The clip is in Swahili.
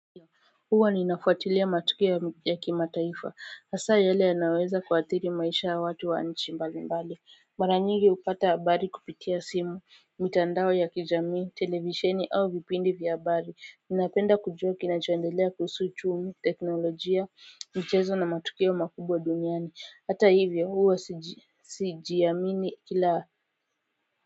Huwa ninafuatilia matukio ya kima taifa hasa yale yanayoweza kuathiri maisha ya watu wa nchi mbalimbali mara nyingi hupata habari kupitia simu mitandao ya kijamii televisheni au vipindi vya habari ninapenda kujua kinachoendelea kuhusu uchumi teknolojia mchezo na matukio makubwa duniani hata hivyo huwa sijiamini kila.